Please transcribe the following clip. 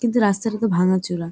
যে রাস্তার মতো ভাঙা চূড়া।